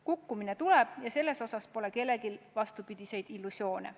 Kukkumine tuleb ja selles osas pole kellelgi vastupidiseid illusioone.